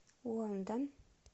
лондон